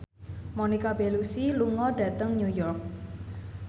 Monica Belluci lunga dhateng New York